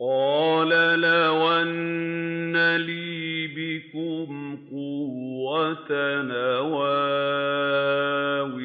قَالَ لَوْ أَنَّ لِي بِكُمْ قُوَّةً أَوْ آوِي